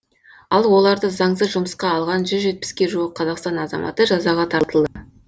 ал оларды заңсыз жұмысқа алған жүз жетпіске жуық қазақстан азаматы жазаға тартылды